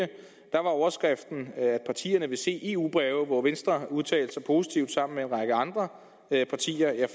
var overskriften at partierne vil se eu breve og venstre udtalte sig positivt sammen med en række andre partier jeg